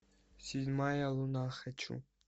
седьмая луна хочу